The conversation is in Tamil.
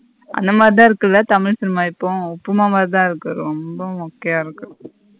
அந்த மாதிரித இருக்குல தமிழ் cinema இப்போ உப்புமா மாதிரித இருக்கு ரெம்ப மொக்கைய இருக்கு.